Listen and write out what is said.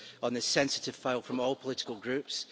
on this sensitive file from all political groups.